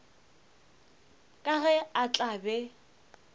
ka ge a tla be